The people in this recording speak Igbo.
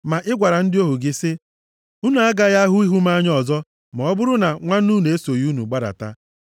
Ma ị gwara ndị ohu gị sị, ‘Unu agaghị ahụ ihu m anya ọzọ, ma ọ bụrụ na nwanne unu a esoghị unu gbadata.’